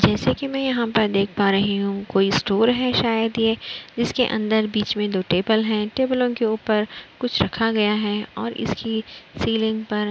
जैसे कि मैं यहाँ पर देख पा रही हूं कोई स्टोर है शायद ये इसके अंदर बीच में दो टेबल है। टेबलों के ऊपर कुछ रखा गया है और इसकी सीलिंग पर --